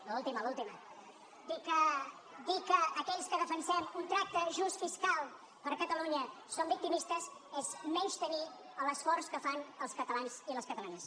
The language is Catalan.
l’última l’última dir que aquells que defensem un tracte just fiscal per a catalunya som victimistes és menystenir l’esforç que fan els catalans i les catalanes